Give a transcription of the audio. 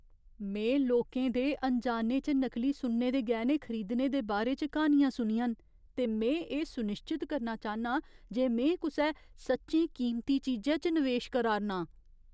में लोकें दे अनजाने च नकली सुन्ने दे गैह्‌ने खरीदने दे बारे च क्हानियां सुनियां न, ते में एह् सुनिश्चत करना चाह्न्नां जे में कुसै सच्चेें कीमती चीजै च निवेश करा'रना आं।